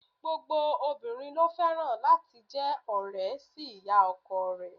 Gbogbo obìnrin ló fẹ́ràn láti jẹ́ ọ̀rẹ́ sí ìyá ọkọ rẹ̀.